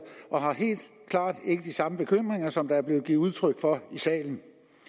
og har helt klart ikke de samme bekymringer som der er blevet givet udtryk for i salen